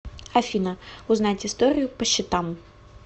афина узнать историю по счетам